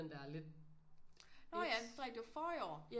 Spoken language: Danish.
Der lidt lidt